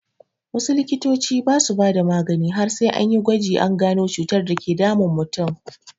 Wasu likitoci ba su bada magani har sai anyi gwaji an gano cutar dake damun mutum.